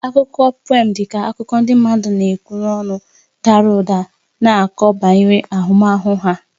Akụkọ pùém dị ka akụkọ ndị mmadụ na-ekwu n'olu dara ụda na-akọ banyere ahụmahụ ha